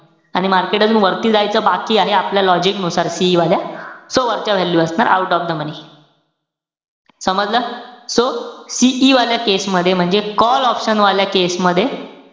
आणि market अजून वरती जायचं बाकी आहे, आपल्या logic नुसार, CE वाल्या. So वरच्या value असणार out of the money. समजलं? So CE वाल्या case मध्ये म्हणजे call option वाल्या case मध्ये,